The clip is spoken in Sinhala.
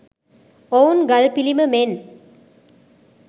ඔවුන් ගල් පිළිම මෙන්